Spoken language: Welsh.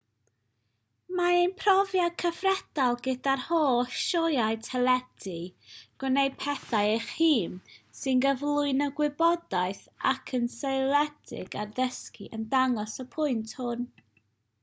mae ein profiad cyfredol gyda'r holl sioeau teledu gwneud pethau eich hun sy'n cyflwyno gwybodaeth ac yn seiliedig ar ddysgu yn dangos y pwynt hwn